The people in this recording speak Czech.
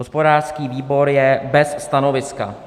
Hospodářský výbor je bez stanoviska.